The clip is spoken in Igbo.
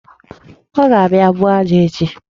Ọ ga-abịa buo aja ahụ echi.